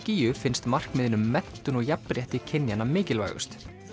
gígju finnst markmiðin um menntun og jafnrétti kynjanna mikilvægust